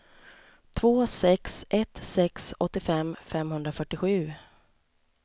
två sex ett sex åttiofem femhundrafyrtiosju